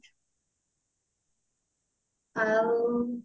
ଆଉ